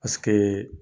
Paseke